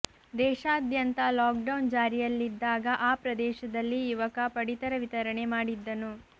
ದೇಶಾದ್ಯಂತ lockdown ಜಾರಿಯಲ್ಲಿದ್ದಾಗ ಆ ಪ್ರದೇಶದಲ್ಲಿ ಯುವಕ ಪಡಿತರ ವಿತರಣೆ ಮಾಡಿದ್ದನು